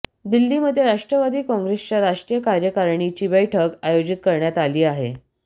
दिल्लीमध्ये राष्ट्रवादी काँग्रेसच्या राष्ट्रीय कार्यकारिणीची बैठक आयोजित करण्यात आली आहे